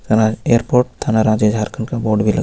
थाना एयरपोर्ट थाना राज्य झारखंड का बोर्ड भी लगा --